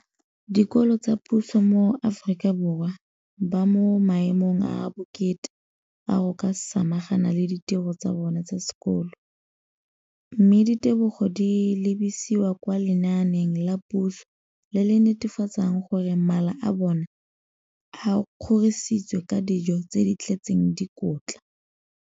dikolo tsa puso mo Aforika Borwa ba mo maemong a a botoka a go ka samagana le ditiro tsa bona tsa sekolo, mme ditebogo di lebisiwa kwa lenaaneng la puso le le netefatsang gore mala a bona a kgorisitswe ka dijo tse di tletseng dikotla.